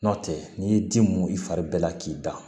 N'o tɛ n'i ye ji mun i fari bɛɛ la k'i da